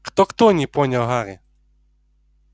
кто-кто не понял гарри